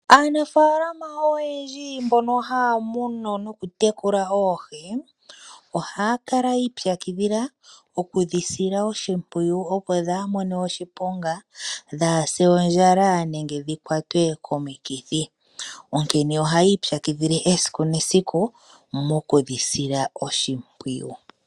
Aanafaalama oyendji mbono haya munu nokutekula oohi, ohaya kala yiipyakidhila okudhisila oshimpwuyu opo dhaamone oshiponga, dhaase ondjala nenge dhikwatwe komikithi. Onkene ohaya ipyakidhile esiku nesiku mokudhisila oshimpwuyu.